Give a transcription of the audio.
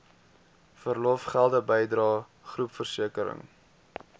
verlofgelde bydrae groepversekering